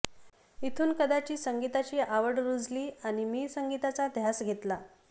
इथून कदाचित संगीताची आवड रूजली आणि मी संगीताचा ध्यास घेतला